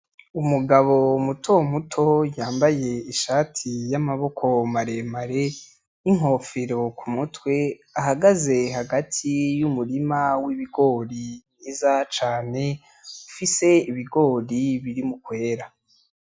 Umugabo mutomuto yambaye ishati y'amaboko maremare n'inkofero ku mutwe ahagaze hagati y'umurima w'ibigori mwiza cane ufise ibigori biri mukwera.